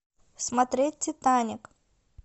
смотреть титаник